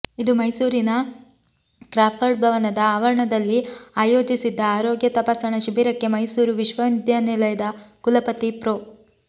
ಇಂದು ಮೈಸೂರಿನ ಕ್ರಾಫರ್ಡ್ ಭವನದ ಆವರಣದಲ್ಲಿ ಆಯೋಜಿಸಿದ್ದ ಆರೋಗ್ಯ ತಪಾಸಣಾ ಶಿಬಿರಕ್ಕೆ ಮೈಸೂರು ವಿಶ್ವ ವಿದ್ಯಾನಿಲಯದ ಕುಲಪತಿ ಪ್ರೊ